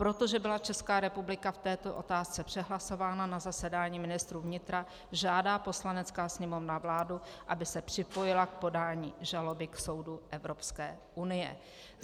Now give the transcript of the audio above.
Protože byla Česká republika v této otázce přehlasována na zasedání ministrů vnitra, žádá Poslanecká sněmovna vládu, aby se připojila k podání žaloby k soudu Evropské unie.